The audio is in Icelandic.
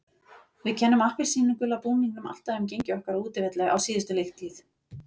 Við kennum appelsínugula búningnum alltaf um gengi okkar á útivelli á síðustu leiktíð.